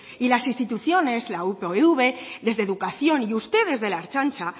y las instituciones la upv desde educación y ustedes de la ertzaintza